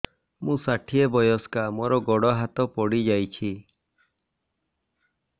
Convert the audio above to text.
ମୁଁ ଷାଠିଏ ବୟସ୍କା ମୋର ଗୋଡ ହାତ ପଡିଯାଇଛି